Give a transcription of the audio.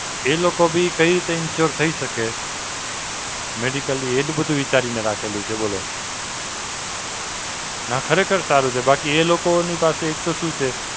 એ લોકો બી કઈ રીતે insurance થઈ શકે, Medically એટલે બધું વિચારીને રાખેલું છે બોલો. નાં ખરેખર સારું છે. બાકી એ લોકોની પાસે એક તો શું છે,